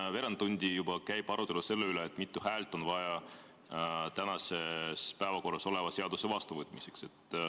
Juba veerand tundi käib siin arutelu selle üle, mitu häält on vaja tänases päevakorras oleva seaduse vastuvõtmiseks.